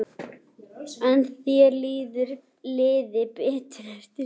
En þér liði betur ef þú játaðir.